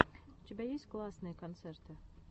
у тебя есть классные концерты